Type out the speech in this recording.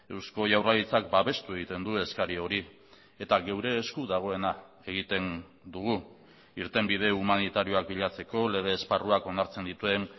eusko jaurlaritzak babestu egiten du eskari hori eta geure esku dagoena egiten dugu irtenbide humanitarioak bilatzeko lege esparruak onartzen dituen